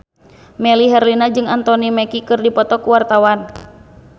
Melly Herlina jeung Anthony Mackie keur dipoto ku wartawan